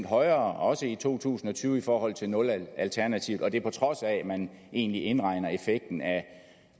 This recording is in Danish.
højere også i to tusind og tyve i forhold til nulalternativet og det på trods af at man egentlig indregner effekten af